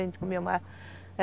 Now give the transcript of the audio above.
A gente comia mais.